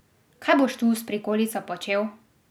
Kaj boš tu s prikolico počel?